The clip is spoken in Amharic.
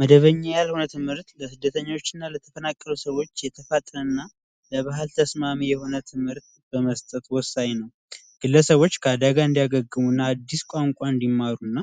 መደበኛ ያልሆነ ትምህርት ስደተኞችና ለተናከረ ሰዎች የተፋጠና ለባህል ተስማሚ የሆነ ትምህርት በመስጠት ወሳኝ ነው ግለሰቦች አዲስ ቋንቋ እንዲማሩና